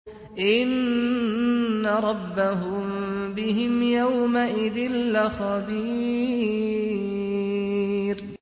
إِنَّ رَبَّهُم بِهِمْ يَوْمَئِذٍ لَّخَبِيرٌ